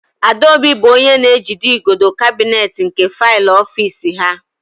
Adaobi bụ onye na-ejido igodo kabinet nke faịlụ ofiisi ha.